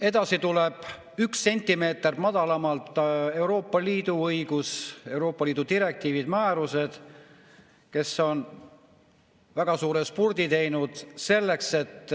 Edasi tuleb üks sentimeeter madalamal Euroopa Liidu õigus, Euroopa Liidu direktiivid, määrused, mis on teinud väga suure spurdi selleks, et